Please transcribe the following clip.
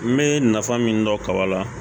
N bɛ nafa min dɔn kaba la